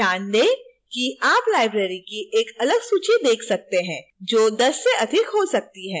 ध्यान दें कि आप libraries की एक अलग सूची देख सकते हैं जो 10 से अधिक हो सकती है